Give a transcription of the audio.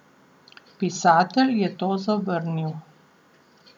Pisatelj je to zavrnil.